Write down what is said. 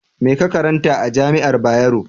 Me ka karanta a jami'ar Bayero?